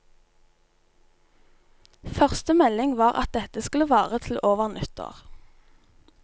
Første melding var at dette skulle vare til over nyttår.